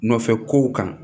Nɔfɛ kow kan